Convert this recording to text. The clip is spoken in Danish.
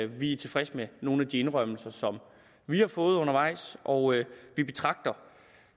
vi er tilfredse med nogle af de indrømmelser som vi har fået undervejs og vi betragter